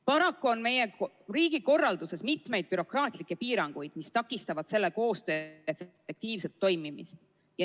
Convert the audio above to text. Paraku on meie riigikorralduses mitu bürokraatlikku piirangut, mis takistavad selle koostöö efektiivset toimimist.